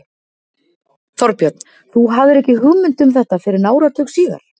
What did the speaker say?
Þorbjörn: Þú hafðir ekki hugmynd um þetta fyrr en áratug síðar?